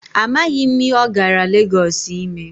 Amaghị m ihe ọ gara Legọọsụ ime.